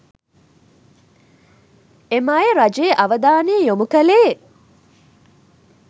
එම අය රජයේ අවධානය යොමු කළේ